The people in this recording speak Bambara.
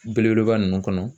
Belebeleba ninnu kɔnɔ.